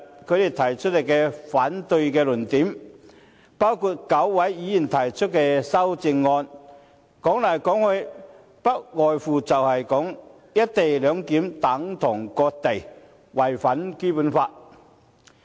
他們提出反對的論點，包括9位議員提出的修正案，說來說去，不外乎是"一地兩檢"等同割地，違反《基本法》。